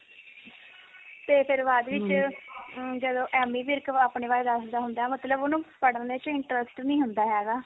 ਤੇ ਫਿਰ ਬਾਅਦ ਵਿੱਚ ਅਹ ਜਦੋਂ ਐਮੀ ਵਿਰਕ ਵੀ ਆਪਣੇ ਬਾਰੇ ਦੱਸਦਾ ਹੁੰਦਾ ਮਤਲਬ ਉਹਨੂੰ ਪੜ੍ਹ ਚ interest ਨੀ ਹੁੰਦਾ ਹੈਗਾ